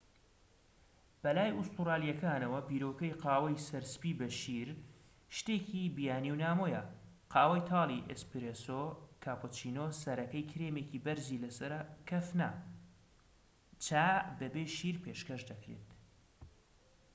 بەلای ئوستورالیەکانەوە، بیرۆکەی قاوەی 'سەر سپی بە شیر' شتێکی بیانی و نامۆیە. قاوەی تاڵی 'ئێسپرێسۆ'، کاپۆچینۆ سەرەکەی کرێمێکی بەرزی لەسەرە کەف نا، چا بەبێ شیر پێشکەش دەکرێت